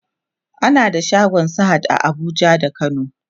ana da shagon sahad a Abuja da kano